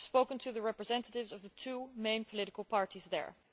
I have spoken to the representatives of the two main political parties there.